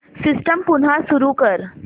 system पुन्हा सुरू कर